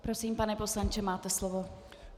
Prosím, pane poslanče, máte slovo.